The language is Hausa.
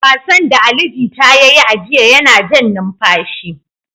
Wasan da Ali Jita ya yi a jiya yana jan numfashi.